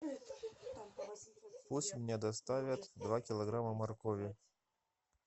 пусть мне доставят два килограмма моркови